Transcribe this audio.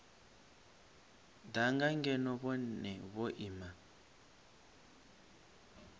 danga ngeno vhone vho ima